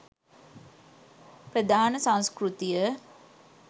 ප්‍රධාන සංස්කෘතිය